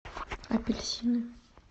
апельсины